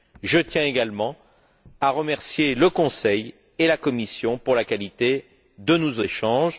Je tiens également à remercier le Conseil et la Commission pour la qualité de nos échanges.